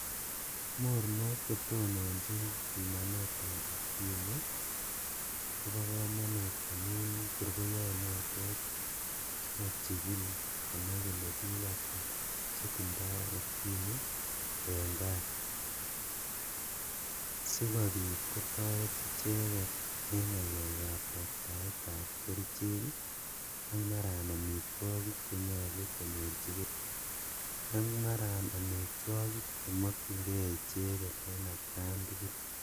Mornok chetononjin pimanetab ukimwi kobo kamanut amun kurkoyoi notet sikochikil konai kole biik ata chetindoi ukimwi eng' kaa sikobit kotoret icheget eng' ng'alekab roptaetab kerichek ak mara ak omitwokik chenyolu konyorchigei ak mara omitwokik chemokchingei icheget en atkantugul